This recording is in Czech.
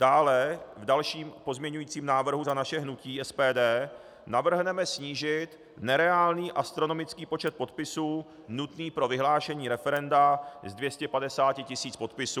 Dále v dalším pozměňovacím návrhu za naše hnutí SPD navrhneme snížit nereálný astronomický počet podpisů nutný pro vyhlášení referenda z 250 tisíc podpisů na 100 tisíc podpisů.